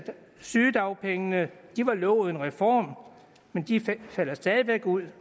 sygedagpengene var lovet en reform men de falder stadig væk ud